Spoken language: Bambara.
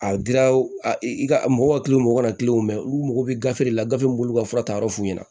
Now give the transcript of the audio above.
A dira a i ka mɔgɔ ka mɔgɔ ka mɛ olu mago bɛ gafe de la gafe min b'u ka fura ta yɔrɔ f'u ɲɛna